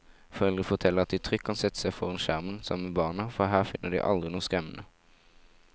Foreldre forteller at de trygt kan sette seg foran skjermen sammen med barna, for her finner de aldri noe skremmende.